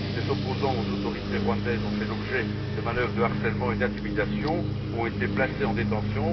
Les opposants aux autorités rwandaises ont fait l'objet de manoeuvres de harcèlement et d'intimidation et ont été placés en détention.